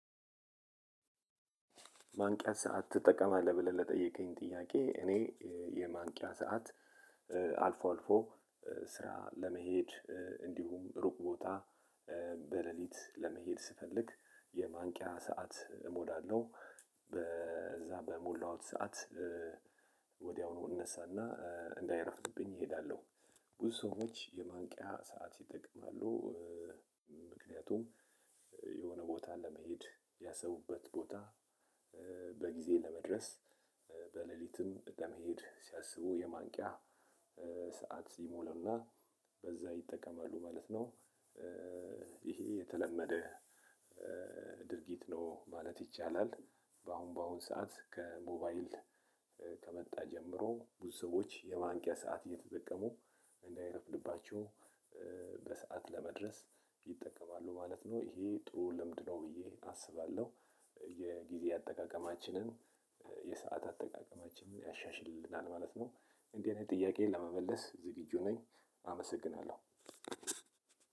ማንቂያ ሰዓት ትጠቀማለህ ብለህ ለጠየቀኝ ጥያቄ እኔ የማንቂያ ሰዓት አልፎ አልፎ ስራ ለመሄድ እንዲሁም ሩቅ ቦታ በሌሊት ለመሄድ ስፈልግ የማንቂያ ሰዓት እሞላለሁ በዛ በሞላውት ሰዓት ወዲያውኑ እነሳና እንዳይረፍድብኝ ሄዳለሁ። ብዙ ሰዎች የማንቂያ ሰዓት ይጠቀማሉ። ምክንያቱም የሆነ ቦታ ለመሄድ ያሰቡበት ቦታ በጊዜ ለመድረስ በሌሊትም በመሄድ ሲያስቡ የማንቂያ ሰዓት ሲሞሉና በዛ ይጠቀማሉ ማለት ነው። ይሄ የተለመደ ድርጊት ነው ማለት ይቻላል። በአሁን በአሁን ሰዓት ከሞባይል ከመጣ ጀምሮ ብዙ ሰዎች የማንቂያ ሰዓት እየተጠቀሙ እንዳይረፍድባቸው በሰአት ለመድረስ ይጠቀማሉ ማለት ነው ይሄ ጥሩ ልምድ ነው ብዬ አስባለሁ። የጊዜ አጠቃቀማችንን የሰዓት አጠቃቀማችንን ያሻሽልናል ማለት ነው። እንዲህ አይነት ጥያቄን ለመመለስ ዝግጁ ነኝ አመሰግናለሁ።